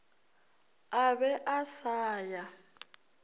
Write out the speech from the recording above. a be a sa ya